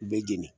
U bɛ jeni